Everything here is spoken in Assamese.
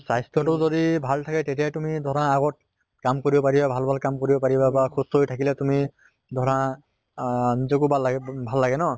স্বাস্থ্য় টো যদি ভাল থাকে তেতিয়া তুমি ধৰা আগত কাম কৰিব পাৰিবা, ভাল ভাল কাম কৰিব পাৰিবা বা সুস্থ হৈ থাকিলে তুমি ধৰা আহ নিজকে বাল লাগে ভাল লাগে ন